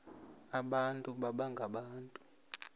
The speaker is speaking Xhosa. abantu baba ngabantu